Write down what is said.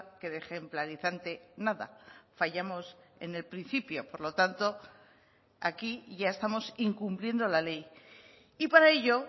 que de ejemplarizante nada fallamos en el principio por lo tanto aquí ya estamos incumpliendo la ley y para ello